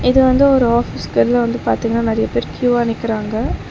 இது வந்து ஒரு ஆஃபீஸ்க்கு வெளிய வந்து பாத்தீங்னா நெறைய பேர் கியூவா நிக்கிறாங்க.